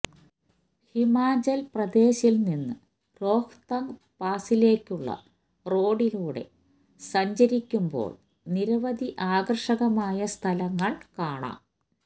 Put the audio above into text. ഹിമാചല് പ്രദേശില് നിന്ന് രോഹ്തംഗ് പാസിലേക്കുള്ള റോഡിലൂടെ സഞ്ചരിക്കുമ്പോള് നിരവധി ആകര്ഷകമായ സ്ഥലങ്ങള് കാണാം